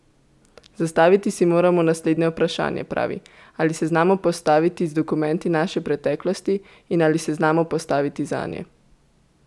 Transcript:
Zastaviti si moramo naslednje vprašanje, pravi: "Ali se znamo postaviti z dokumenti naše preteklosti in ali se znamo postaviti zanje.